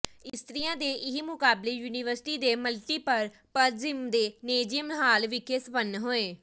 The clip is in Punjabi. ਇਸਤਰੀਆਂ ਦੇ ਇਹ ਮੁਕਾਬਲੇ ਯੂਨੀਵਰਸਿਟੀ ਦੇ ਮਲਟੀਪਰਪਜ਼ਜ਼ਿਮਨੇਜ਼ੀਅਮ ਹਾਲ ਵਿਖੇ ਸੰਪੰਨ ਹੋਏ